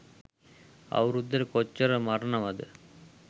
අවුරුද්දට කොච්චර මරණවද